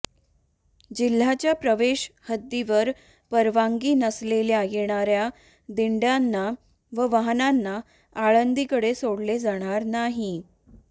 जिल्ह्याच्या प्रवेश हद्दीवर परवानगी नसलेल्या येणाऱ्या दिंड्याना व वाहनांना आळंदीकडे सोडले जाणार नाही